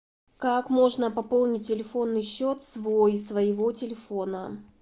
как можно пополнить телефонный счет свой своего телефона